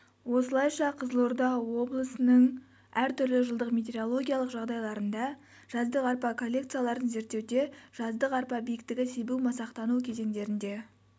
осылайша қызылорда облысының әр түрлі жылдық метеорологиялық жағдайларында жаздық арпа коллекцияларын зерттеуде жаздық арпа биіктігі себу-масақтану кезеңдерінде